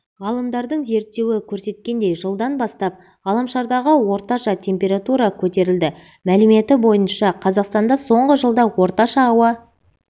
ғалымдардың зерттеуі көрсеткендей жылдан бастап ғаламшардағы орташа температура көтерілді мәліметі бойынша қазақстанда соңғы жылда орташа ауа